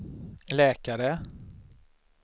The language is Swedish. läkare